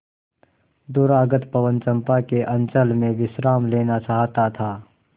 दूरागत पवन चंपा के अंचल में विश्राम लेना चाहता था